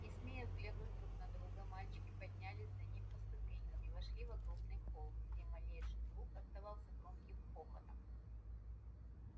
не смея взглянуть друг на друга мальчики поднялись за ним по ступенькам и вошли в огромный холл где малейший звук отдавался громким эхом